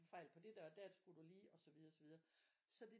Fejl på det der og der skulle du lige og så videre og så videre så det